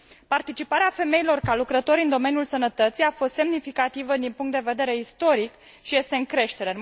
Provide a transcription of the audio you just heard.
Participarea femeilor ca lucrători în domeniul sănătății a fost semnificativă din punct de vedere istoric și este în creștere.